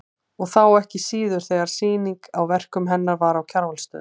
Og þá ekki síður þegar sýningin á verkum hennar var á Kjarvalsstöðum.